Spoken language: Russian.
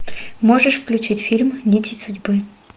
можешь включить фильм нити судьбы